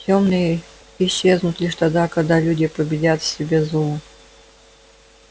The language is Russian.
тёмные исчезнут лишь тогда когда люди победят в себе зло